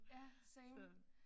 Ja same